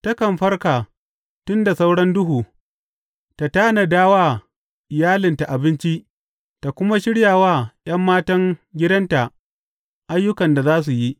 Takan farka tun da sauran duhu; ta tanada wa iyalinta abinci ta kuma shirya wa ’yan matan gidanta ayyukan da za su yi.